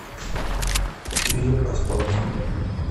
фильм о спорте